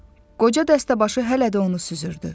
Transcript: Qoca dəstəbaşı hələ də onu süzürdü.